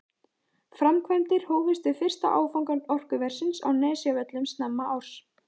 Framkvæmdir hófust við fyrsta áfanga orkuversins á Nesjavöllum snemma árs.